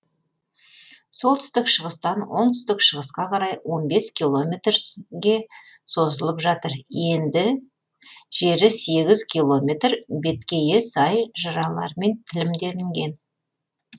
солтүстік шығыстан оңтүстік шығысқа қарай он бес километрге созылып жатыр енді жері сегіз километр беткейі сай жыралармен тілімделінген